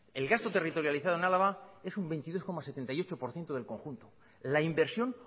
el gasto territorializado en álava es un veintidós coma setenta y ocho por ciento del conjunto la inversión